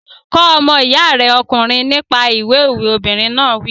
Kọ́ ọmọ iya rẹ ọkùnrin nípa ìwé òwe! Obìnrin náà wí.